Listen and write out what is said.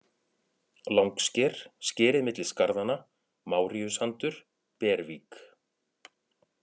Langsker, Skerið milli skarðanna, Máríusandur, Bervík